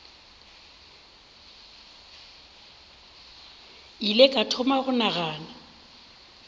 ile ka thoma go nagana